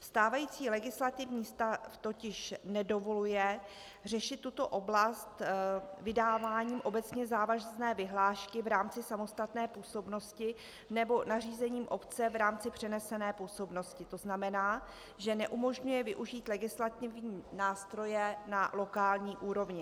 Stávající legislativní stav totiž nedovoluje řešit tuto oblast vydáváním obecně závazné vyhlášky v rámci samostatné působnosti nebo nařízením obce v rámci přenesené působnosti, to znamená, že neumožňuje využít legislativní nástroje na lokální úrovni.